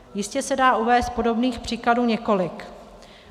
Jistě se dá uvést podobných příkladů několik.